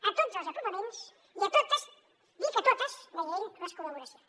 a tots els apropaments i a totes dic a totes deia ell les col·laboracions